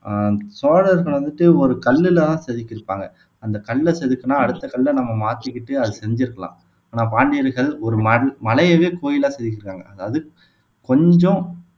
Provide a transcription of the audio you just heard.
ஆஹ் சோழர்கள் வந்துட்டு ஒரு கல்லுல தான் செதுக்கியிருப்பாங்க அந்தக் கல்ல செதுக்குனா அடுத்த கல்ல நம்ம மாத்திக்கிட்டு அதை செஞ்சிருக்கலாம் ஆனா பாண்டியர்கள் ஒரு ம மலையவே கோயிலா செதுக்கிருக்காங்க அதாவது கொஞ்சம்